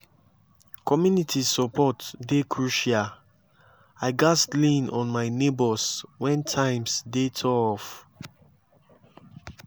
community support dey crucial; i gats lean on my neighbors when times dey tough.